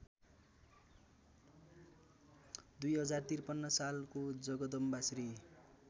२०५३ सालको जगदम्बाश्री